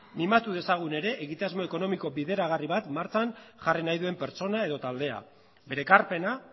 mimatu dezagun ere egitasmo ekonomiko bideragarri bat martxan jarri nahi duen pertsona edo taldea bere ekarpena